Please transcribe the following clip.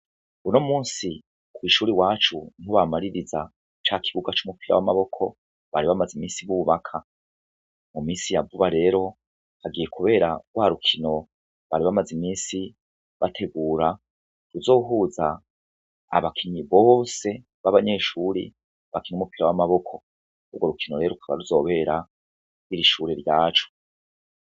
Uno musi kw'ishuri iwacu ni bamaririza ca kibuga c'umupira w'amaboko bari bamaze imisi bubaka, mu misi ya vuba rero hagiye, kubera rwa rukino bari bamaze imisi bategura ku zohuza abakinyi bose babanyeshuri bakina umupira w'amaboko urwo rukino rero rukaba ruzobera mw'ishure ryacu.